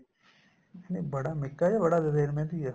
ਨਹੀਂ ਬੜਾ ਮਿੱਕਾ ਜਾਂ ਬੜਾ ਦਲੇਰ ਮਹਿੰਦੀ ਏ